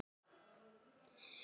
Hafa þeir hjálpað liðinu mikið?